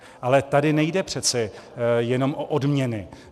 Ale tady nejde přece jenom o odměny.